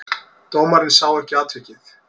Dómarinn sá ekki atvikið.